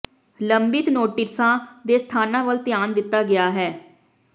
ਲੰਬਿਤ ਨੋਟਿਸਾਂ ਦੇ ਸਥਾਨਾਂ ਵੱਲ ਧਿਆਨ ਦਿੱਤਾ ਗਿਆ ਹੈ